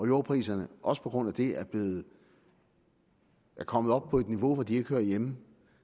jordpriserne også på grund af det er kommet op på et niveau hvor de ikke hører hjemme